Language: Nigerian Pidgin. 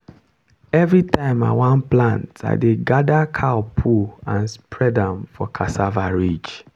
every time i wan plant i dey gather cow poo and spread am for cassava ridge.